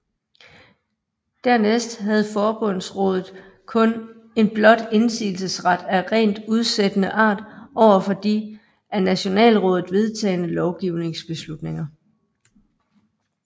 Dernæst havde forbundsrådet kun en blot indsigelsesret af rent udsættende art over for de af nationalrådet vedtagne lovgivningsbeslutninger